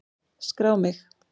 Skrá mig!